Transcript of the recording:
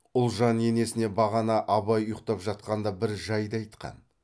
ұлжан енесіне бағана абай ұйқтап жатқанда бір жайды айтқан